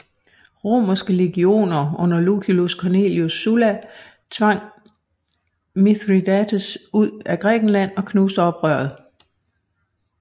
Romerske legioner under Lucius Cornelius Sulla tvang Mithridates ud af Grækenland og knuste oprøret